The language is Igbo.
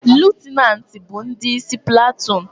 Lutenanti bu ndi isi platoon